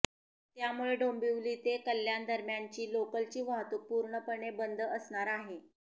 त्यामुळे डोंबिवली ते कल्याणदरम्यानची लोकलची वाहतूक पूर्णपणे बंद असणार आहे